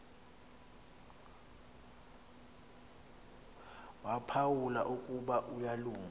waphawula ukuba uyalunga